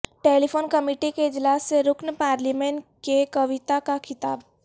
telephone committee کے اجلاس سے رکن پارلیمان کے کویتا کا خطاب